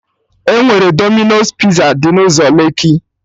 Enwere Dominos Piza dị n'ụzọ Lekki